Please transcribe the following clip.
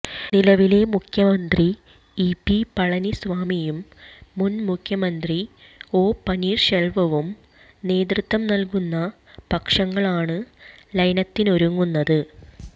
നിലവിലെ മുഖ്യമന്ത്രി E P പളനിസ്വാമിയും മുന്മുഖ്യമന്ത്രി ഒ പനീര്ശെല്വവും നേതൃത്വം നല്കുന്ന പക്ഷങ്ങളാണ് ലയനത്തിനൊരുങ്ങുന്നത്